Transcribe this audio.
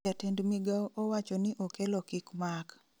jatend migao owachoni okello kik mak